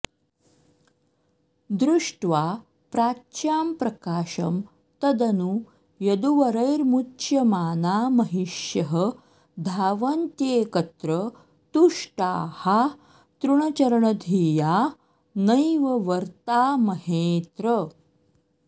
दृष्ट्रवा प्राच्यां प्रकाशं तदनु यदुवरैर्मुच्यमाना महिष्यः धावन्त्येकत्र तुष्टाः तृणचरणधिया नैव वर्तामहेऽत्र